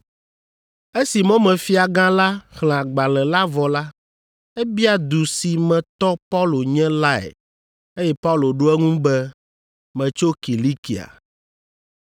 Esi mɔmefiagã la xlẽ agbalẽ la vɔ la, ebia du si me tɔ Paulo nye lae eye Paulo ɖo eŋu be, “Metso Kilikia.”